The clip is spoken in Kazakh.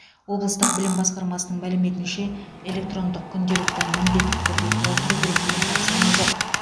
облыстық білім басқармасының мәліметінше электрондық күнделікті міндетті түрде толтыру керек деген тапсырма жоқ